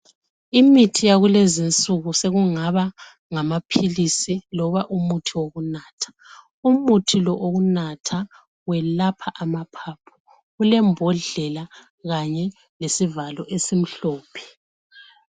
Imithi yakulezi insuku sokungaba ngamapills loba umuthi wokunatha umuthi lo wokunatha welapha amaphaphu kulembodlela kanye lesivalo esimhlophe